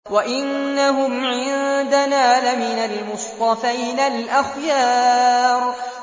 وَإِنَّهُمْ عِندَنَا لَمِنَ الْمُصْطَفَيْنَ الْأَخْيَارِ